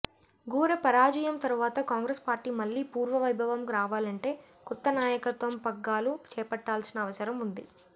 ఘోర పరాజయం తర్వాత కాంగ్రెస్ పార్టీ మళ్లీ పుర్వవైభవం రావాలంటే కొత్త నాయకత్వం పగ్గాలు చేపట్టాల్సిన అవసరం ఉంది